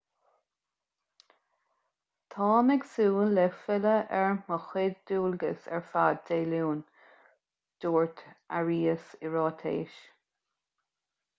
táim ag súil le filleadh ar mo chuid dualgas ar fad dé luain dúirt arias i ráiteas